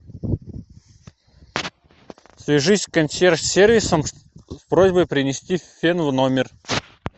свяжись с консьерж сервисом с просьбой принести фен в номер